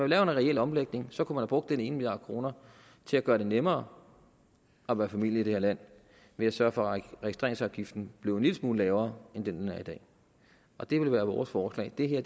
lavet en reel omlægning så kunne man have brugt den ene milliard kroner til at gøre det nemmere at være familie i det her land ved at sørge for at registreringsafgiften blev en lille smule lavere end den er i dag og det ville være vores forslag det her